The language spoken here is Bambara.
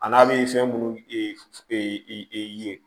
A n'a bɛ fɛn minnu ye